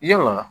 Yala